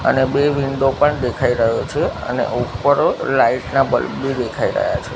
અને બે વિન્ડો પણ દેખાય રહ્યો છે અને ઉપર લાઈટ ના બલ્બ બી દેખાય રહ્યા છે.